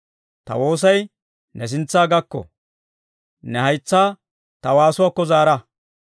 Ta woosay ne sintsa gakko; ne haytsaa ta waasuwaakko zaara.